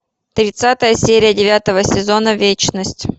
тридцатая серия девятого сезона вечность